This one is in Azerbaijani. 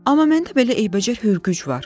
Amma məndə belə eybəcər hürgüc var.